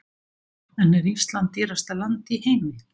En er Ísland dýrasta land í heimi?